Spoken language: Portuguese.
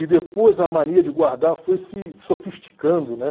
E depois a mania de guardar foi se sofisticando, né?